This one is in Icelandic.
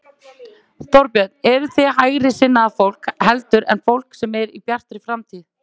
Þorbjörn: Eruð þið hægri sinnaðra fólk heldur en fólk sem er í Bjartri framtíð?